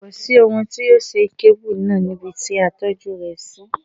Kò sí ohun tí yóò ṣe kébù náà níbi ti a tọ́jú rẹ̀ sí.